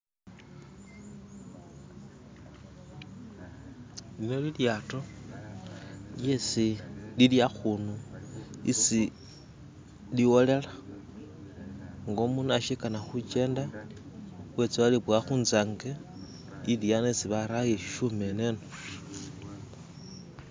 lino lilyato lyesi liliakhunu isi liwolela ng'o omunu ashikana khukyenda etsa aliboya khunzangi iliano isibarawo iyeshishyuma eneno.